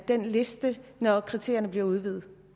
den liste når kriterierne bliver udvidet